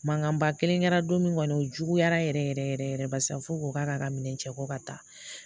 Mankanba kelen kɛra don min kɔni o juguyara yɛrɛ yɛrɛ yɛrɛ barisa fo ko k'a ka minɛn cɛ ko ka taa